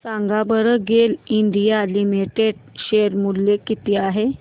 सांगा बरं GAIL India Limited share मूल्य किती आहे